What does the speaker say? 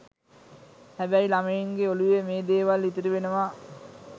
හැබැයි ළමයින්ගේ ඔළුවේ මේ දේවල් ඉතිරි වෙනවා.